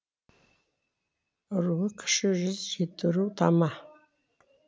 руы кіші жүз жетіру тама